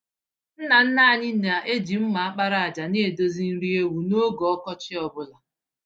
Nna nna anyị na-eji mma àkpàràjà nedozi nri ewu n’oge ọkọchị ọ bụla.